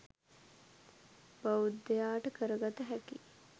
බෞද්ධයාට කර ගත හැකි